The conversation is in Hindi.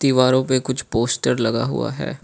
दीवारों पे कुछ पोस्टर लगा हुआ है।